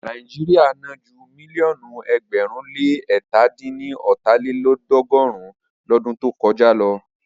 Nàíjíríà ná ju mílíọ̀nù ẹgbẹ̀rún le ẹ̀ta dín ní ọ́ta lélọ́ọ̀dúnrún lọdún tó kọjá lọ.